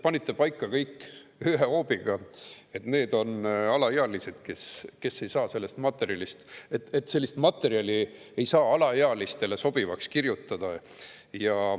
Aga ei, te panite kõik ühe hoobiga paika,, et need on alaealised, kes sellest materjalist ei saa, ja et sellist materjali ei saa alaealistele sobivaks kirjutada.